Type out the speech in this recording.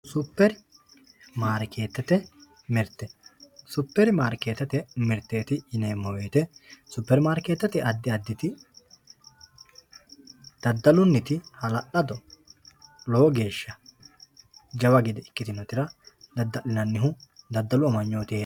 Supermarketete mirte supermarketete mirteti yineemo woyite supermarketete adi aditidadaluniti halalado lowo geesha jawa gede ikitinotera dadalinanihu dadalu amaynoti herano.